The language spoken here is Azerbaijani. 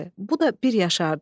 Bu da bir yaşardı.